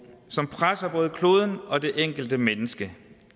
som presser både kloden og det enkelte menneske